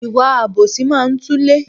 Ìwà àbòsí máa ń túlé